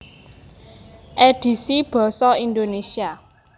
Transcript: Édhisi basa Indonesia